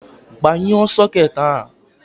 Gbanyuo soket ahụ!